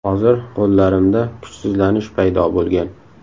Hozir qo‘llarimda kuchsizlanish paydo bo‘lgan.